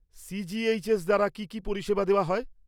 CGHS দ্বারা কি কি পরিষেবা দেওয়া হয়?